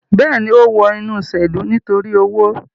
Bẹẹni, o wọ inu iṣelu nitori owo